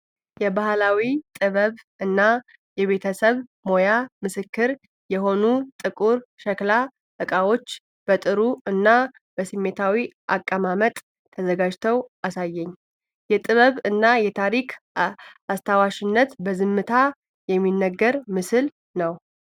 የባህላዊ ጥበብ እና የቤተሰብ ሞያ ምስክር የሆኑ ጥቁር ሸክላ ዕቃዎች በጥሩ እና በስሜታዊ አቀማመጥ ተዘጋጅተው አሳየኝ። የጥበብ እና የታሪክ አስታዋሽነት በዝምታ የሚነግር ምስል ነው።